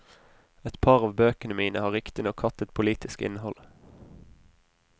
Et par av bøkene mine har riktignok hatt et politisk innhold.